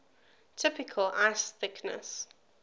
typical ice thickness